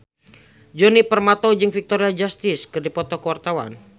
Djoni Permato jeung Victoria Justice keur dipoto ku wartawan